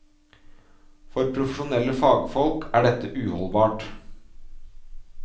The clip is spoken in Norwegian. For profesjonelle fagfolk er dette uholdbart.